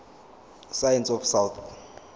science of south